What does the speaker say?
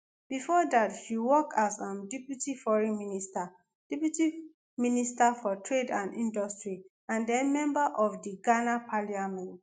bifor dat she work as um deputy foreign minster deputy minister for trade and industry and den member of of di ghana parliament